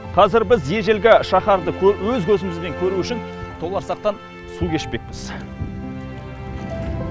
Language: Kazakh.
қазір біз ежелгі шаһарды өз көзімізбен көру үшін толарсақтан су кешпекпіз